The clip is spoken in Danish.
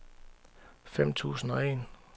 fem tusind og en